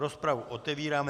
Rozpravu otevírám.